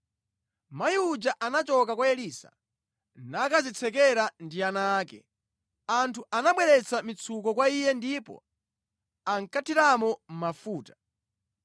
Mayi uja anachoka kwa Elisa nakadzitsekera ndi ana ake. Anthu anabweretsa mitsuko kwa iye ndipo ankathiramo mafuta.